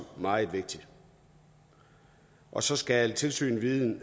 meget vigtigt og så skal tilsynets viden